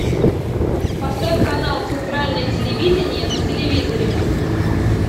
поставь канал центральное телевидение на телевизоре